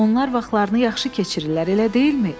Onlar vaxtlarını yaxşı keçirirlər, elə deyilmi?